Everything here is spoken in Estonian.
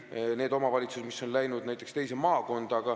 Võtame näiteks need omavalitsused, mis on läinud teise maakonda.